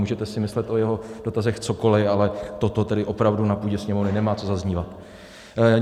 Můžete si myslet o jeho dotazech cokoli, ale toto tedy opravdu na půdě Sněmovny nemá co zaznívat.